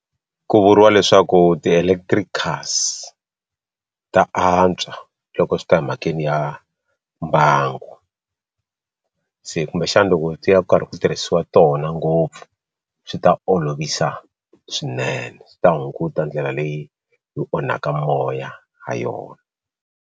Ku vuriwa leswaku ti electricas ta antswa loko swi ta emhakeni ya mbangu se kumbexana loko ti ya ku karhi ku tirhisiwa tona ngopfu swi ta olovisa swinene swi ta hunguta ndlela leyi yi onhaka moya ha yona.